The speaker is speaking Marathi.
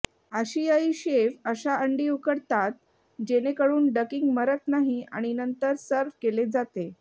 आशियाई शेफ अशा अंडी उकडतात जेणेकरुन डकिंग मरत नाही आणि नंतर सर्व्ह केले जाते